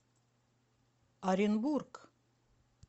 оренбург